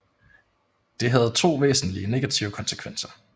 Det havde to væsentlige negative konsekvenser